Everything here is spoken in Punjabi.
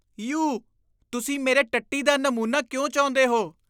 ਯੂ। ਤੁਸੀਂ ਮੇਰੇ ਟੱਟੀ ਦਾ ਨਮੂਨਾ ਕਿਉਂ ਚਾਹੁੰਦੇ ਹੋ?